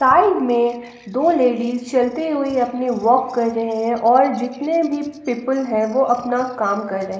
Side में दो ladies चलते हुई अपने वॉक कर रहे हैं और जितने भी पीपल हैं वो अपना काम कर रहे हैं।